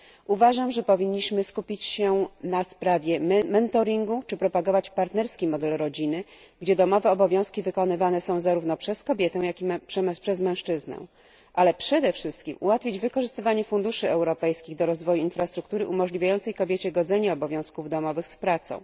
Uważam, że powinniśmy skupić się na sprawie mentoringu czy propagować partnerski model rodziny, gdzie domowe obowiązki wykonywane są zarówno przez kobietę, jak i przez mężczyznę, ale przede wszystkim ułatwić wykorzystywanie funduszy europejskich do rozwoju infrastruktury umożliwiającej kobiecie godzenie obowiązków domowych z pracą.